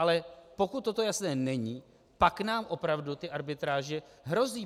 Ale pokud toto jasné není, pak nám opravdu ty arbitráže hrozí.